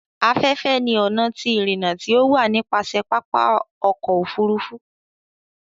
Aféfé ní ọna ti irinna ti o wa nipasẹ papa ọkọ ofurufu.